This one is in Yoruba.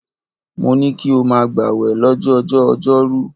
Mo ní kí o máa gbàwẹ̀ lọ́jọjọ́ọ ọjọ́rú.